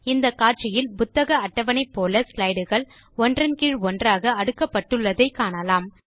இந்த காட்சியில் புத்தக அட்டவணை போல ஸ்லைடு கள் ஒன்றன் கீழ் ஒன்றாக அடுக்கப்பட்டுள்ளதை காணலாம்